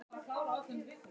Áðan glámu gat ég séð.